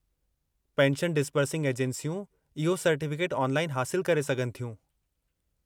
Pension disbursing एजेंसियूं इहो certificate online हासिलु करे सघनि थियूं।